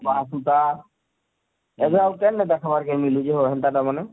ବାହା ସୁତା ଏବେ ଆଉ କେନନେ ଦେଖବାର କେ ମିଲୁଛେ ହୋ ହେନତା ଟା ମାନେ